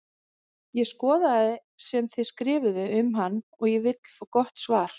Ég skoðaði sem þið skrifuðuð um hann en ég vil fá gott svar!